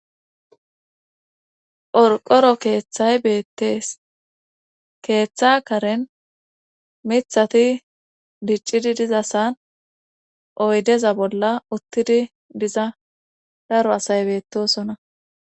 Qorqoro keeththay beettees keeththa karen mithati diccidi dizasan oydeza bolla uttidi diza daro asay beettosona.